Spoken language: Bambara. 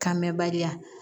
Kan mɛ bariya